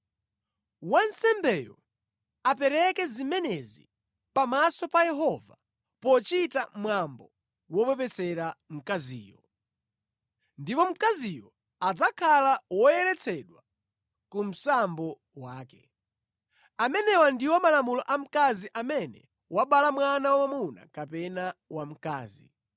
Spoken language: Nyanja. Wansembeyo apereke zimenezi pamaso pa Yehova pochita mwambo wopepesera mkaziyo. Ndipo mkaziyo adzakhala woyeretsedwa ku msambo wake. “ ‘Amenewa ndiwo malamulo a mkazi amene wabala mwana wamwamuna kapena wamkazi.